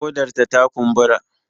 Ƙodarta ta kumbura